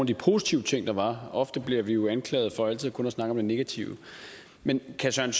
de positive ting der var ofte bliver vi jo anklaget for altid kun at snakke om det negative men kan